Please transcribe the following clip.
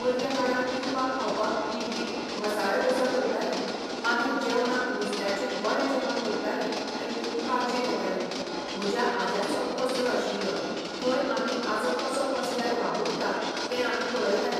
मदले काळार पिवपाक खावपाक इडली, मसाला डोसा करताली. मागीर जेवणाक नुस्त्याचें बरें जेवण करताली आनी खूब काळजी घेताली. म्हज्या आज्याचो पसरो आशिल्लो थंय आमी आजो कसो पसऱ्यार वावुरता तें आमी पळयतालीं.